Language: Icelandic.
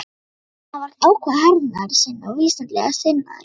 Hann var ákafur hernaðarsinni og vísindalega sinnaður.